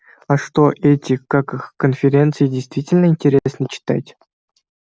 а что эти как их конференции действительно интересно читать